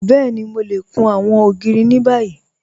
Bẹ́ẹ̀ni, Mò lè kùn awọn ogiri ni bàyì.